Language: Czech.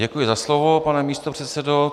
Děkuji za slovo, pane místopředsedo.